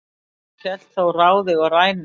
hélt þó ráði og rænu